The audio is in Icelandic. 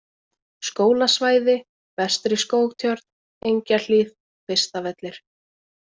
Skólasvæði, Vestri-Skógtjörn, Engjahlíð, Kvistavellir